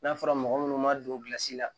N'a fɔra mɔgɔ munnu ma don gilasi la